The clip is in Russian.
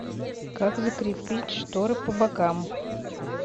как закрепить шторы по бокам